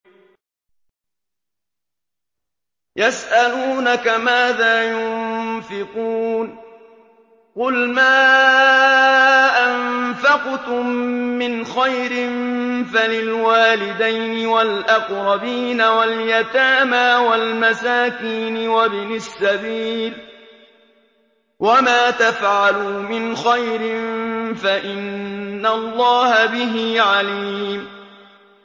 يَسْأَلُونَكَ مَاذَا يُنفِقُونَ ۖ قُلْ مَا أَنفَقْتُم مِّنْ خَيْرٍ فَلِلْوَالِدَيْنِ وَالْأَقْرَبِينَ وَالْيَتَامَىٰ وَالْمَسَاكِينِ وَابْنِ السَّبِيلِ ۗ وَمَا تَفْعَلُوا مِنْ خَيْرٍ فَإِنَّ اللَّهَ بِهِ عَلِيمٌ